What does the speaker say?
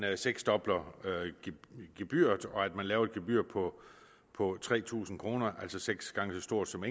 seksdobler gebyret og laver et gebyr på på tre tusind kr altså seks gange så stort som